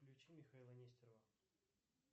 включи михаила нестерова